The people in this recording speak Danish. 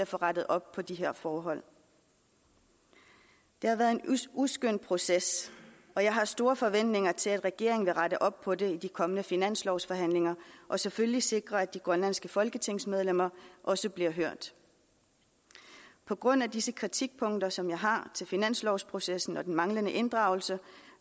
få rettet op på de her forhold det har været en uskøn proces og jeg har store forventninger til at regeringen vil rette op på det i de kommende finanslovsforhandlinger og selvfølgelig sikre at de grønlandske folketingsmedlemmer også bliver hørt på grund af disse kritikpunkter som jeg har til finanslovsprocessen og den manglende inddragelse